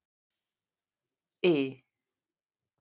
I